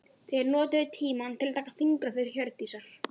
Þeir notuðu tímann til að taka fingraför Hjördísar.